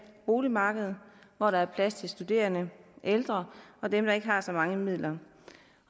boligmarked hvor der er plads til studerende ældre og dem der ikke har så mange midler